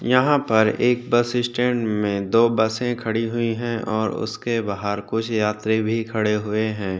यहाँ पर एक बस स्टैंड में दो बसे खड़ी हुई है और उसके बाहार कुछ यात्री भी खड़े हुए है।